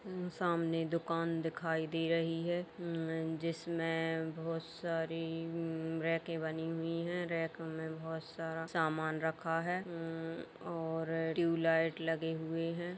यह सामने दुकान दिखाई दे रही है उम जिसमें बोहोत सारी उम रेके बनी हुई हैं। रेक में बोहोत सारा सामान रखा है उम और ट्यूबलाइट लगे हुए हैं।